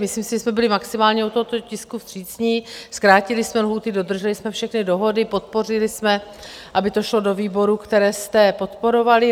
Myslím si, že jsme byli maximálně u tohoto tisku vstřícní, zkrátili jsme lhůty, dodrželi jsme všechny dohody, podpořili jsme, aby to šlo do výborů, které jste podporovali.